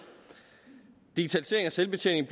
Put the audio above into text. digitalisering og selvbetjening